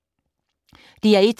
DR1